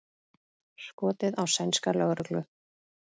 Skotið á sænska lögreglu